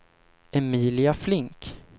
Emilia Flink